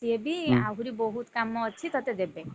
ସିଏ ବି ଆହୁରି ବହୁତ୍ କାମ ଅଛି ତତେ ଦେବେ।